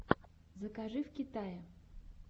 закажи в китае